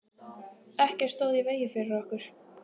Ekkert stóð í vegi fyrir okkur.